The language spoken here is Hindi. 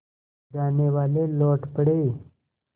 जानेवाले लौट पड़े